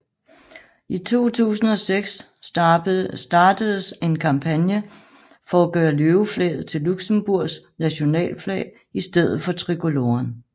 I 2006 startedes en kampagne for at gøre løveflaget til Luxembourgs nationalflag i stedet for tricoloren